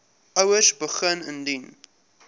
ouers begin indien